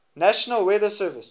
national weather service